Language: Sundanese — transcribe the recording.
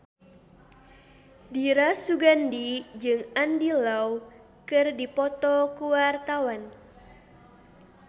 Dira Sugandi jeung Andy Lau keur dipoto ku wartawan